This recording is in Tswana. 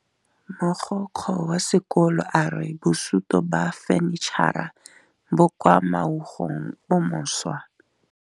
Mogokgo wa sekolo a re bosutô ba fanitšhara bo kwa moagong o mošwa.